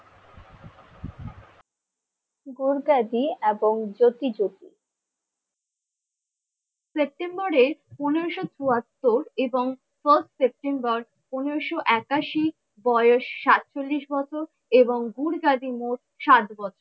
গুরগাজি এবং জ্যোতি জ্যোতি। সেপ্টেম্বরের পনেরোশ চুয়াত্তর এবং first সেপ্টেম্বর পনেরোশো একাশি বয়স সাতচল্লিশ বছর এবং গুরগা্জি মোট সাত বছর।